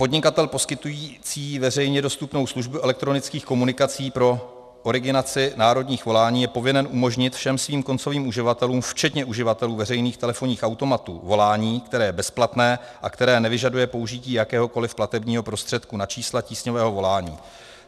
Podnikatel poskytující veřejně dostupnou službu elektronických komunikací pro originaci národních volání je povinen umožnit všem svým koncovým uživatelům včetně uživatelů veřejných telefonních automatů volání, které je bezplatné a které nevyžaduje použití jakéhokoliv platebního prostředku na čísla tísňového volání.